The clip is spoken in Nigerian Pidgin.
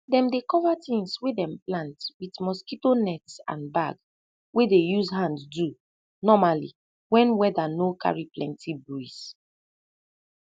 dem dey cover tins wey dem plant wit mosquito nets and bag wey dey use hand do normali wen weda no carry plenti breeze